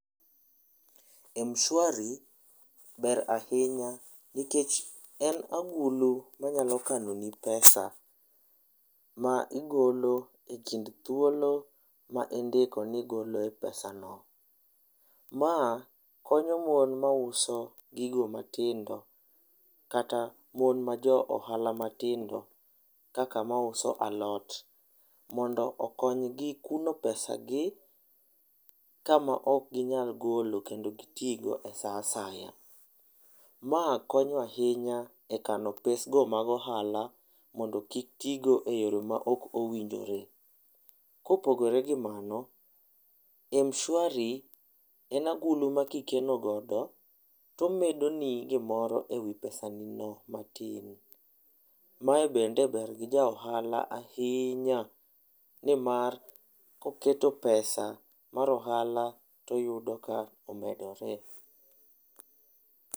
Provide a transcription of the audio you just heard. Mshwari ber ahinya nikech en agulu manyalo kano ni pesa ma igolo ekind thuolo ma indiko ni igoloe pesano. Ma konyo mon mauso gigo matindo kata mon ma jo ohala matindo kaka mauso alot mondo okonygi kuno pesagi kama ok ginyal golo kendo gitii go e saa asaya. Ma konyo ahinya e kano pesgo mag ohala mondo kik tigo e yore maok owinjore. Kopogore gi mano, Mshwari en agulu ma kikeno godo tomedoni gimoro ewi pesani no matin, mae bende ber gi ja ohala ahinya nimar ka oketo pesa mar ohala toyudo ka omedore.